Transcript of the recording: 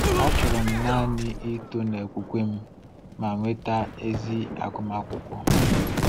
Achọrọ m naanị ito n’okwukwe m ma nweta ezi agụmakwụkwọ.